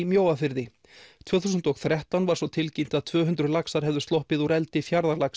Mjóafirði tvö þúsund og þrettán var svo tilkynnt að tvö hundruð laxar hefðu sloppið úr eldi